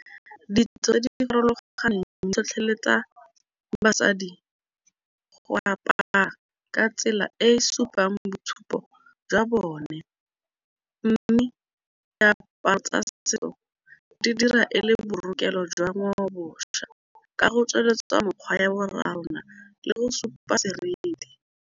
Ditso di farologaneng di tlhotlheletsa mo basadi go apara ka tsela e e supang mo boitshupong jwa bone, mme diaparo tsa setso di dira e le borekelo jwa ngwaoboswa ka go tsweletsa tsa mekgwa ya borrarona le go supa seriti.